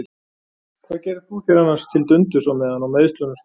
Hvað gerðir þú þér annars til dundurs á meðan á meiðslunum stóð?